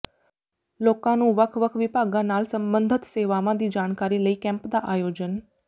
ਲੋਕਾਂ ਨੂੰ ਵੱਖ ਵੱਖ ਵਿਭਾਗਾਂ ਨਾਲ ਸਬੰਧਤ ਸੇਵਾਵਾਂ ਦੀ ਜਾਣਕਾਰੀ ਲਈ ਕੈਂਪ ਦਾ ਆਯੋਜਨ